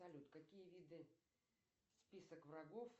салют какие виды список врагов